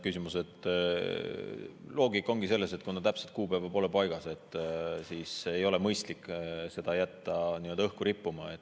Loogika ongi see, et kuna täpset kuupäeva pole paigas, siis ei ole mõistlik jätta seda nii-öelda õhku rippuma.